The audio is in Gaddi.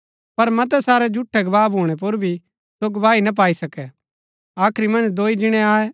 पर मतै सारै झूठै गवाह भूणै पुर भी सो गवाही ना पाई सकै आखरी मन्ज दोई जिणै आये